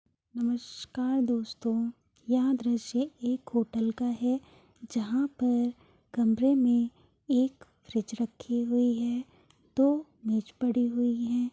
नमस्कार दोस्तों! यह दृश्य एक होटल का है जहाँ पर कमरे में एक फ्रिज रखी हुई है। दो मेज पड़ी हुई हैं।